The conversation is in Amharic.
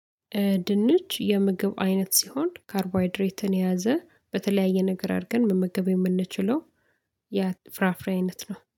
ድንች የምግብ አይነት ሲሆን ካርቦሃይድሬትን የያዘ በተለያየ ነገር አድርገን መመገብ የምንችለው። የፍራፍሬነት ነው